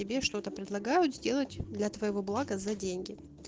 тебе что-то предлагают сделать для твоего блага за деньги